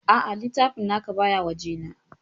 Aa, littafin naka baya waje na